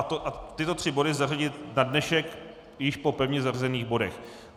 A tyto tři body zařadit na dnešek již po pevně zařazených bodech.